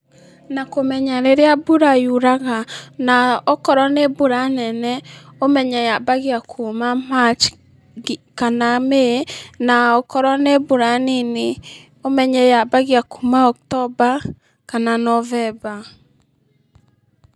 Na kũmenya rĩrĩa mbura yuraga, na akorwo nĩ mbura nene ũmenye yambagia kuma March, kana May , na akorwo nĩ mbura nini ũmenye yambagia kuma October, kana November.